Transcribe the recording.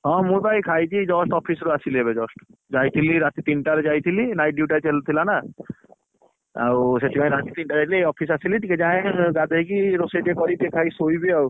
ହଁ ମୁ ବା ଏଇ ଖାଇକି just office ରୁ ଆସିଲି ଏବେ just ଯାଇଥିଲି ରାତି ତିନଟା ରେ ଯାଇଥିଲି night duty ଆଜି ଥିଲା ନା ସେଇଥିପାଇଁକି ରାତି ତିନଟାରେ ଯାଇଥିଲି ଏଇ office ଆସିଲି ତିକେ ଯାଏ ଗାଧେଇକି ରୋସେଇ ଟିକେ କରିକି ଖାଇକି ଶୋଇବି ଆଉ,